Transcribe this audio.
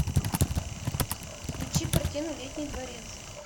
включи картину летний дворец